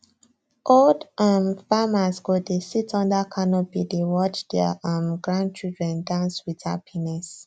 old um farmers go dey sit under canopy dey watch their um grandchildren dance with happiness